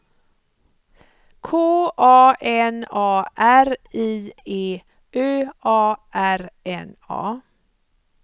K A N A R I E Ö A R N A